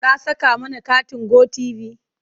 Ka saka mana katin Go tv?